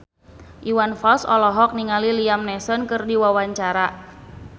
Iwan Fals olohok ningali Liam Neeson keur diwawancara